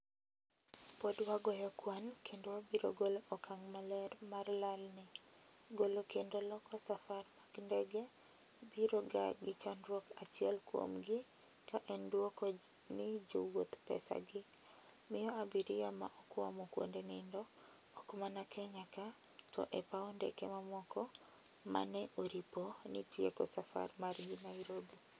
pod wagoyo kuan kendo wabiro golo okang' maler mar lal ni "Golo kendo loko safar mag ndege biro ga gi chandruok achiel kuom gi ka en dwoko ni jowouth pesa gi, miyo abiria ma okwamo kuonde nindo, ok mana Kenya ka to e paw ndeke mamoko ma ne oripo ni tieko safar margi Nairobi.